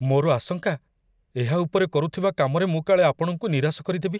ମୋର ଆଶଙ୍କା, ଏହା ଉପରେ କରୁଥିବା କାମରେ ମୁଁ କାଳେ ଆପଣଙ୍କୁ ନିରାଶ କରିଦେବି।